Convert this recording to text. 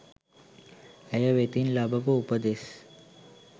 ඇය වෙතින් ලබපු උපදෙස්